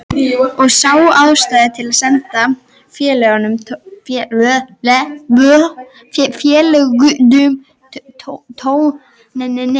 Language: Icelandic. Og sá ástæðu til að senda félögunum tóninn.